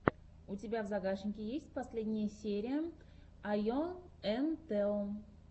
у тебя в загашнике есть последняя серия айо энд тео